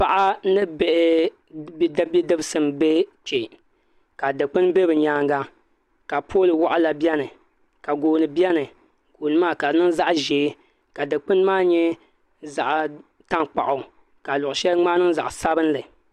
Paɣa ni bidibsi n bɛ kpɛ ka dikpuni bɛ bi nyaanga ka pool waɣala biɛni ka gooni biɛni gooni maa ka di niŋ zaɣ ʒiɛ ka dikpuni maa nyɛ zaɣ tankpaɣu ka luɣu shɛli ŋmaa niŋ zaɣ sabinli